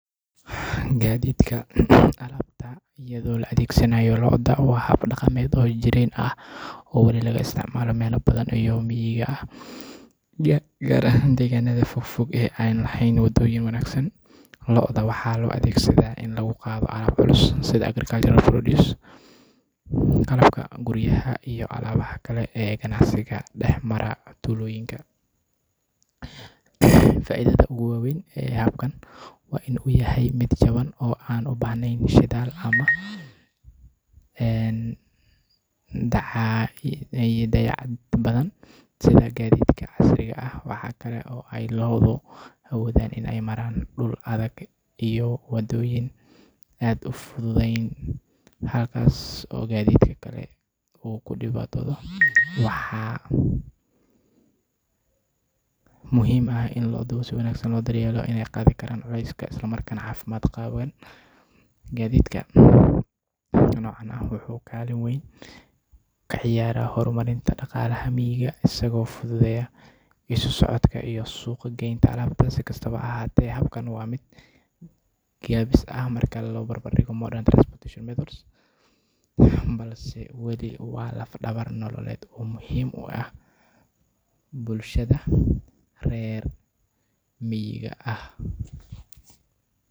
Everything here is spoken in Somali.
Sacani waa gaadhi nooc gaar ah oo loogu talagalay in lagu qaado alaabo culus iyo tiro badan oo kala duwan, sida bacaha waaweyn ee xamuulka, alaabaha ganacsiga, iyo walxaha kale ee culus. Inkastoo uu yahay gaadhi yaryar marka loo eego gaadiidka waaweyn sida tareenada ama baabuurta xamuulka qaada, Sacani wuxuu leeyahay awood uu ku qaado alaabo badan oo isku mar ah, taasoo ka dhigaysa mid aad u waxtar leh gaar ahaan meelaha ay adag tahay in gaadiid waaweyn lagu isticmaalo, sida waddooyinka cidhiidhiga ah ama suuqa dhexdiisa. Sacani waxa uu leeyahay qaab-dhismeed adag oo suurtagelinaya in la raro alaabo culus oo kala duwan, sida sanduuqyo, bacaha, iyo walxo kale.